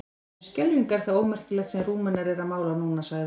En skelfing er það ómerkilegt sem Rúmenar eru að mála núna, sagði